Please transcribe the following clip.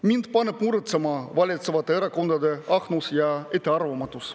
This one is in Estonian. Mind paneb muretsema valitsevate erakondade ahnus ja ettearvamatus.